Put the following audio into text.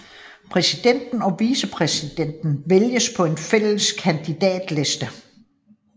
Præsidenten og vicepræsidenten vælges på en fælles kandidatliste